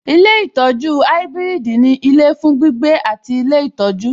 Ilé ìtọjú ibiridi ní ilé fún gbígbé àti ilé ìtọ́jú.